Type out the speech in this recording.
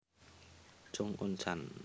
Chung Un chan